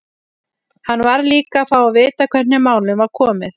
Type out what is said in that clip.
Hann varð líka að fá að vita hvernig málum var komið.